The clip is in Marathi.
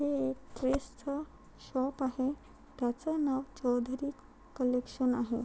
हे एक ड्रेस च शॉप आहे त्याच नाव चौधरी कलेक्शन आहे.